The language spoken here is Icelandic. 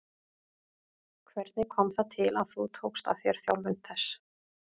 Hvernig kom það til að þú tókst að þér þjálfun þess?